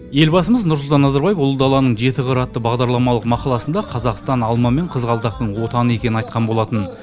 елбасымыз нұрсұлтан назарбаев ұлы даланың жеті қыры атты бағдарламалық мақаласында қазақстан алма мен қызғалдақтың отаны екенін айтқан болатын